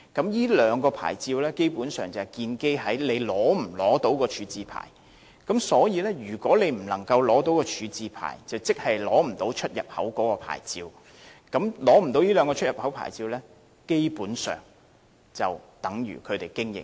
由於這兩個牌照建基於商戶是否取得廢物處置牌照，如果商戶未能取得廢物處置牌照，即無法取得出入口牌照，而沒有出入口牌照的話，商戶基本上已無法經營。